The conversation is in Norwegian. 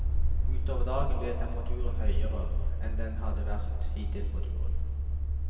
Utover dagen ble temperaturen høyere enn den hadde vært hittil på turen.